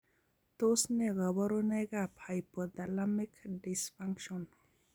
Tos ne kaborunoik ab hypothalamic dysfunction?